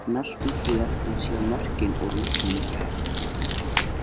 Smelltu hér til að sjá mörkin úr leiknum í gær